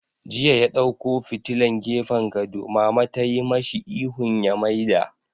Jiya ya ɗauko fitilan gefen gado, Mama tayi mashi ihun ya maida!